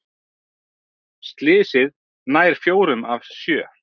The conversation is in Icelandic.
Slysið nær fjórum af sjö